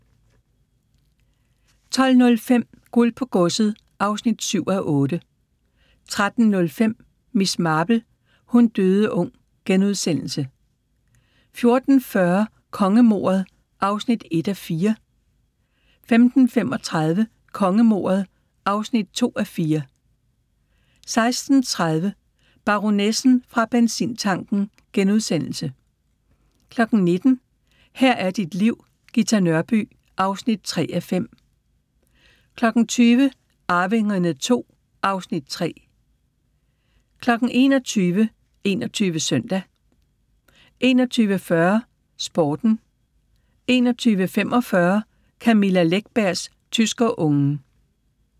12:05: Guld på godset (7:8) 13:05: Miss Marple: Hun døde ung * 14:40: Kongemordet (1:4) 15:35: Kongemordet (2:4) 16:30: Baronessen fra benzintanken * 19:00: Her er dit liv: Ghita Nørby (3:5) 20:00: Arvingerne II (Afs. 3) 21:00: 21 Søndag 21:40: Sporten 21:45: Camilla Läckbergs Tyskerungen